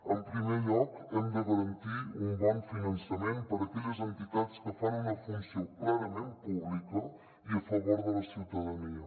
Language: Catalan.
en primer lloc hem de garantir un bon finançament per a aquelles entitats que fan una funció clarament pública i a favor de la ciutadania